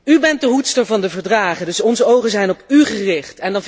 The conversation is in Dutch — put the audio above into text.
U bent de hoedster van de Verdragen, dus onze ogen zijn op u gericht.